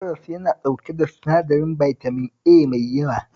Karas yana ɗauke da sinadarin bitamin A mai yawa